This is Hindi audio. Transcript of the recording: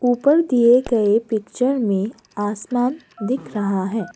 ऊपर दिए गए पिक्चर में आसमान दिख रहा है।